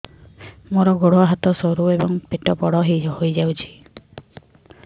ମୋର ଗୋଡ ହାତ ସରୁ ଏବଂ ପେଟ ବଡ଼ ହୋଇଯାଇଛି